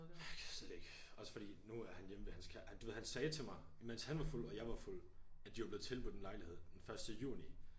Jeg kan slet ikke også fordi nu er han hjemme ved hans kæreste du ved han sagde til mig imens han var fuld og jeg var fuld at de var blevet tilbudt en lejlighed den første juni